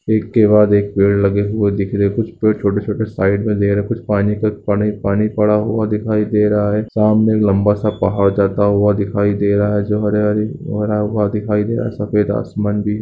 एक के बाद एक पेड़ लगे हुए दिख रहे हैं कुछ पेड़ छोटे-छोटे साइड में दे रहे है कुछ पानी का पानी पानी पड़ा हुआ दिखाई दे रहा है सामने लंबा सा पहाड़ जाता हुआ दिखाई दे रहा है जो हरियाली वो हरा हुआ दिखाई दे रहा है सफेद आसमान भी --